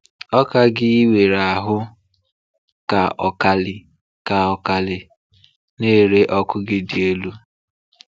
Ọ càng ị nwere ahụ́, ka ọkàlị̀ ka ọkàlị̀ na-ere ọkụ gị dị elu.